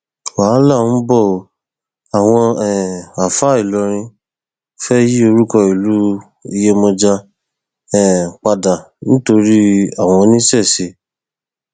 wàhálà ń bọ ọ àwọn um àáfàá ìlọrin fẹẹ yí orúkọ ìlú iyemọja um padà nítorí àwọn oníṣẹṣe